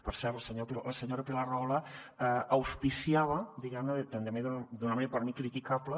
per cert la senyora pilar rahola auspiciaba diguem ne també d’una manera per mi criticable